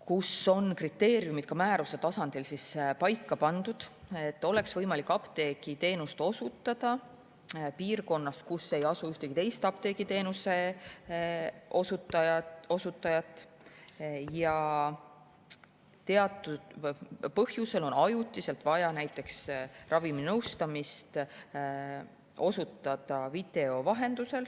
puhul on kriteeriumid määruse tasandil paika pandud, et oleks võimalik apteegiteenust osutada ka piirkonnas, kus ei asu ühtegi teist apteegiteenuse osutajat ja teatud põhjusel on ajutiselt vaja näiteks raviminõustamist teha video vahendusel.